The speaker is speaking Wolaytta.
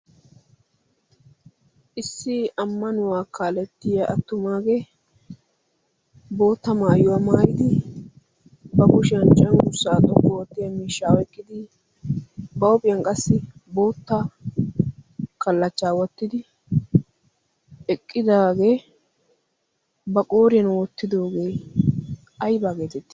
issi ammanuwaa kaalettiya attumaagee bootta maayuwaa maayidi ba kushiyan cenrssaa xoqqu oottiya miishshaau eqqidi ba huuophiyan qassi bootta kallachchaa wottidi eqqidaagee ba qooriyan wottidoogee aibaa geeteeti?